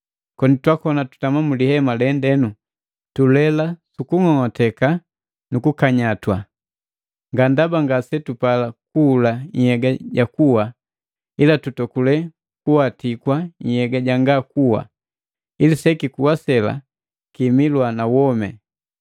Koni twakoni tutama mulihema lu pundema lende, tulela sukung'ong'oteka nukukanyatwa. Nga ndaba ngasetupala kuhula nhyega ja kuwa, ila tutokule kuwatikwa nhyega janga kuwa, ili sekikuwa sela kimilwa na womi.